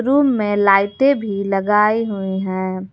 Room में लाइटे भी लगाई हुई है।